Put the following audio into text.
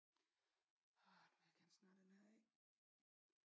Nu vil jeg gerne snart have den her af